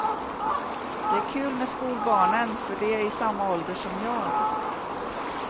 Det är kul med skolbarnen för de är i samma ålder som jag.